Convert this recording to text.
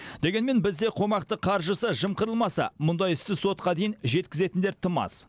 дегенмен бізде қомақты қаржысы жымқырылмаса мұндай істі сотқа дейін жеткізетіндер тым аз